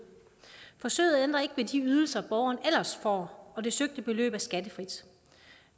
forsøget ændrer ikke ved de ydelser borgeren ellers får og det søgte beløb er skattefrit